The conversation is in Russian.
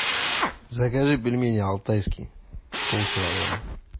закажи пельмени алтайские пол килограмма